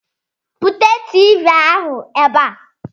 Bute Tiivii ahụ ebe a!